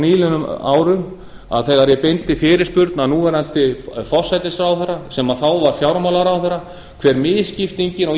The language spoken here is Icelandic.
nýliðnum árum að þegar ég beindi fyrirspurn að núverandi forsætisráðherra sem þá var fjármálaráðherra hve misskiptingin á